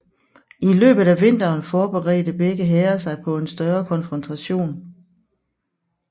I løbet af vinteren forberedte begge hære sig på en større konfrontation